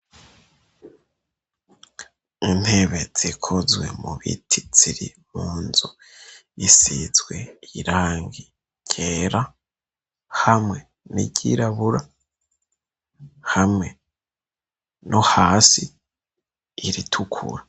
intebe zikozwe mu biti ziri mu nzu isizwe irangi ryera hamwe n'iryirabura hamwe no hasi iritukura